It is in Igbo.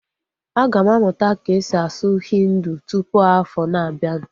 Aga m amụta ka-esi asụ Hindi tụpụ afọ na abianu